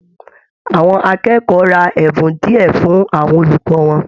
Àwọn akẹ́kọ̀ọ́ rà ẹbùn diẹ fún àwọn olùkọ wọn.